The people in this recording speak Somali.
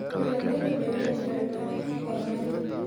Dalagyada beeruhu waxay u baahan yihiin kormeer.